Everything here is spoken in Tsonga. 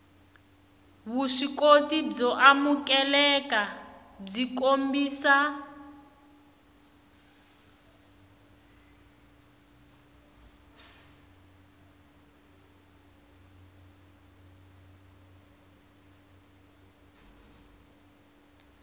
vuswikoti byo amukeleka byi kombisa